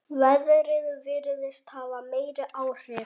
Veðrið virðist hafa meiri áhrif.